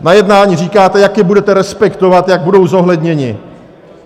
Na jednání říkáte, jak je budete respektovat, jak budou zohledněny.